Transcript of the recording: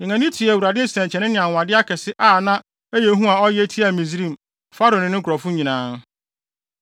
Yɛn ani tua Awurade nsɛnkyerɛnne ne anwonwade akɛse na ɛyɛ hu a ɔyɛ tiaa Misraim, Farao ne ne nkurɔfo nyinaa.